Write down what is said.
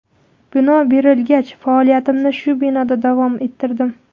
Bino berilgach, faoliyatimni shu binoda davom ettirdim.